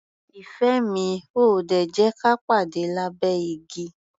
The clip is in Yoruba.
Ìfẹ́ mi, o ò ò dè jẹ́ ka pàde lábẹ́ igi?